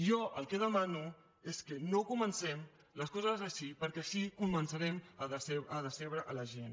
jo el que demano és que no comencem les coses així perquè així començarem a decebre la gent